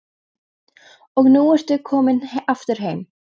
Og nú ertu komin aftur heim?